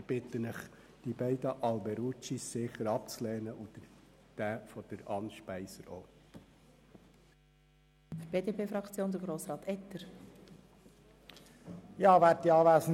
Ich bitte Sie, die beiden Planungserklärungen von Grossrat Alberucci abzulehnen, ebenso den Antrag von Grossrätin Speiser.